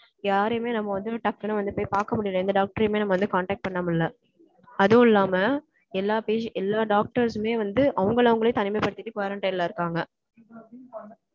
யாரையுமே நம்ம வந்து, டக்குன்னு வந்து, போய் பார்க்க முடியலை. எந்த டாக்டரையுமே, நம்ம வந்து, contact பண்ண முடியலை. அதுவும் இல்லாம, எல்லா page எல்லா doctors மே வந்து, அவங்களை அவங்களே, தனிமைப்படுத்திட்டு, quarantine ல இருக்காங்க.